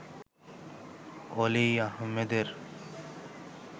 অলি আহমেদের